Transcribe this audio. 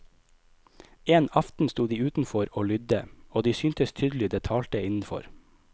En aften sto de utenfor og lydde, og de syntes tydelig det talte innenfor.